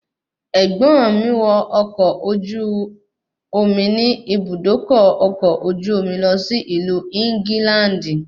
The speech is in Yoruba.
Ẹ̀gbọ́n mi wọ ọkọ̀ ojú omi ní Ibùdókọ̀ ọkọ̀ ojú omi lọ sí ìlú England